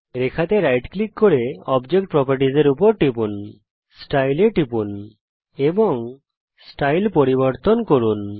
রেখার উপর right click করুন অবজেক্ট properties এর উপর টিপুন Style এর উপর টিপুন এবং স্টাইল পরিবর্তন করুন